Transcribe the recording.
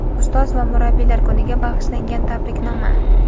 Ustoz va murabbiylar kuniga bag‘ishlangan tabriknoma.